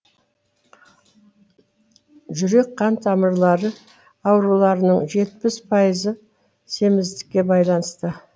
жүрек қан тамырлары ауруларының жетпіс пайызы семіздікке байланысты